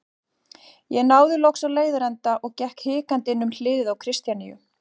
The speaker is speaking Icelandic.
Ég náði loks á leiðarenda og gekk hikandi inn um hlið Kristjaníu.